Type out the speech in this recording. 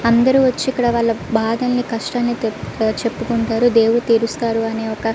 అందరు వచ్చి ఇక్కడ వాల బాధల్లని కస్తలని చేపుకుంటారు దేవుడు తెరుస్తాడు అనే ఒక --